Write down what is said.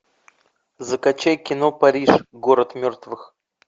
закачай кино париж город мертвых